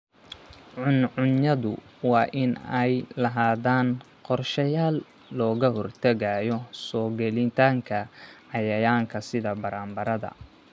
Cuncunyadu waa inay lahaadaan qorshayaal looga hortagayo soo gelitaanka cayayaanka sida baranbarada.